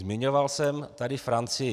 Zmiňoval jsem tady Francii.